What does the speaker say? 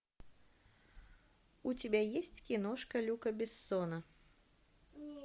у тебя есть киношка люка бессона